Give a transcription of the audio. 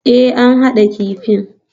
Ee, an haɗa kifin